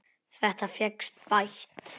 Þetta fékkst bætt.